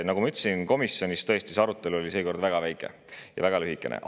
Nagu ma ütlesin, komisjonis oli arutelu seekord tõesti väga lühikene.